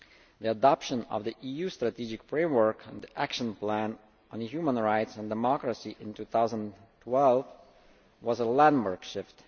The adoption of the EU Strategic Framework and the Action Plan on Human Rights and Democracy in 2012 was a landmark shift.